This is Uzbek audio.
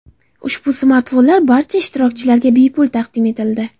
Ushbu smartfonlar barcha ishtirokchilarga bepul taqdim etildi.